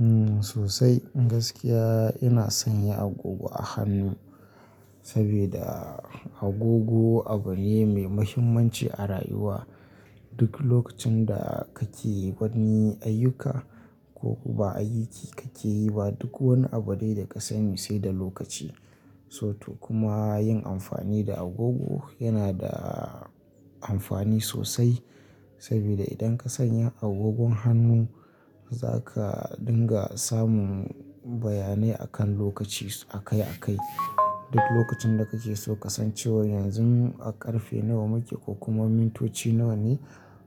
Umm sosai gaskiya ina san ya agogo a hannu sabida agogo abu ne mai muhimmanci a rayuwa. Duk lokacin da kake wani ayyuka ko ba ayyuki kake yi ba duk wani abu ne da ka sani sai da lokaci. So to kuma yin amfani da agogo yana da amfani sosai saboda idan ka sanya agogon hannu zaka dinga samun bayanai akan lokaci akai akai. Duk lokacin da kake so ka san cewa yanzu a karfe nawa muke ko kuma mintoci nawa ne